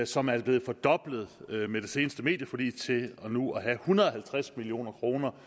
som er blevet fordoblet med det seneste medieforlig til nu at være på hundrede og halvtreds million kroner